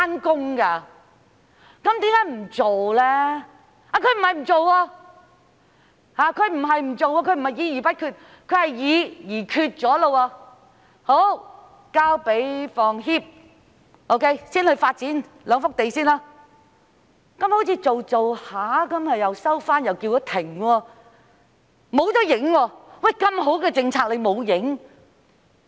當局不是不做，並非議而不決，而是議而決了，已交給香港房屋協會先行發展兩幅土地，但好像開始後又收回決定，叫停計劃，不見蹤影。